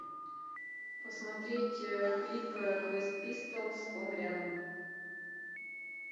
посмотреть клип квест пистолс он рядом